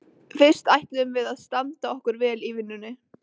Fyrst ætlum við að standa okkur vel í vinnunni.